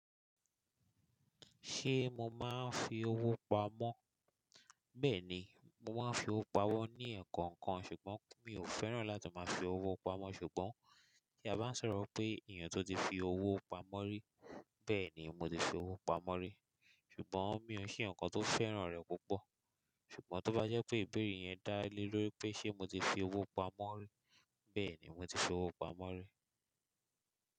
Ṣé mo máa ń fi owó pamọ́? Bẹẹni, mo máa n fi ọwọ pamó ní ẹkọọkan ṣugbọn mi o fẹràn lati maa fi ọwọ pamó, ṣugbọn ti a bá n sọrọ pé èèyàn ti o ti fi ọwọ pamó ri, bẹẹ ni, mo ti fi ọwọ pamó ri. Ṣùgbọ́n mi ò ṣe ẹ̀yán kàn tó fẹ́ràn rẹ̀ púpọ̀. Ṣùgbọ́n tó bá jẹ́ pé ìbéèrè yẹn dá lé lórí pé ṣe mo ti fi owó pamọ́ rí, bẹ́ẹ̀ni mo ti fi owó pamọ́ rí.